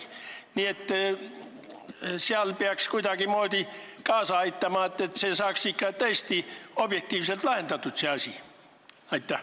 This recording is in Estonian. Nii et peaks kuidagimoodi kaasa aitama, et see asi saaks tõesti objektiivselt lahendatud.